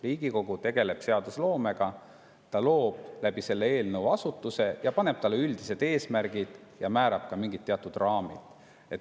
Riigikogu tegeleb seadusloomega, ta loob selle eelnõu kohaselt ühe asutuse, talle üldised eesmärgid ja määrab ka mingid raamid.